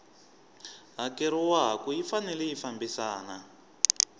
hakeriwaku yi fanele yi fambisana